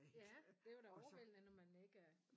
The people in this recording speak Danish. Ja det var da overvældende når man ikke er